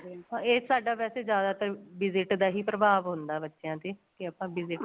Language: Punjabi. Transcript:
ਇਹ ਸਾਡੇ ਵੈਸੇ ਜਿਆਦਾ ਤਾਂ visit ਦਾ ਹੀ ਪ੍ਰਭਾਵ ਹੁੰਦਾ ਬੱਚਿਆਂ ਤੇ ਕੀ ਆਪਾਂ visit